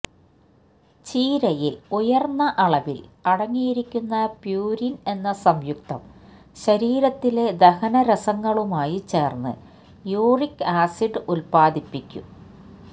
ചീരയില് ഉയര്ന്ന അളവില് അടങ്ങിയിരിക്കുന്ന പ്യൂരിന് എന്ന സംയുക്തം ശരീരത്തിലെ ദഹനരസങ്ങളുമായി ചേര്ന്ന് യൂറിക് ആസിഡ് ഉത്പാദിപ്പിക്കും